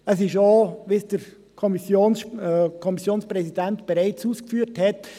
Es ist auch so, wie es der Kommissionspräsident bereits ausgeführt hat: